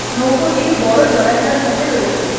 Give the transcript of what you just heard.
নৌকটি বড় জলাশয়ের মধ্যে রয়েছে।